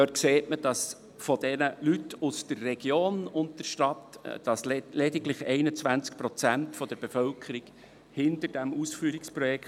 Darin sieht man, dass von der Bevölkerung aus der Region und der Stadt lediglich 21 Prozent hinter diesem Ausführungsprojekt stehen.